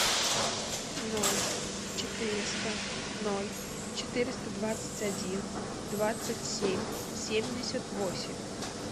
ноль четыреста ноль четыреста двадцать один двадцать семь семьдесят восемь